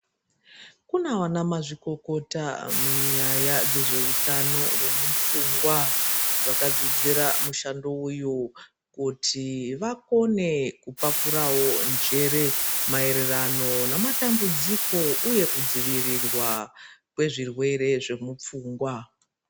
Kuna vanamazvikokota munyaya dzezveutano hwemupfungwa vakadzidzira mushando uyu kuti vakone kupakurawo njere maererano namatambudziko uye kudzivirirwa kwezvirwere zvemupfungwa.